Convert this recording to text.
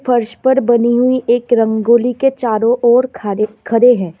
फर्श पर बनी हुई एक रंगोली के चारों ओर खरे खड़े हैं।